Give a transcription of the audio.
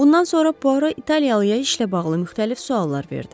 Bundan sonra Puaro italyalıya işlə bağlı müxtəlif suallar verdi.